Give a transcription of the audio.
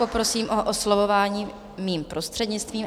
Poprosím o oslovování mým prostřednictvím.